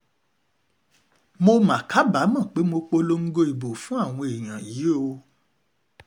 mo mà kábàámọ̀ pé mo polongo ìbò fún àwọn èèyàn yìí o